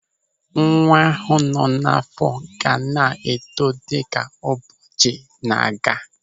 Nwa ahụ nọ n'àfọ́ ga na-eto dịka ụbọchị na-aga.